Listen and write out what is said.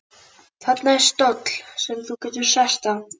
Þarna er stóll sem þú getur sest á.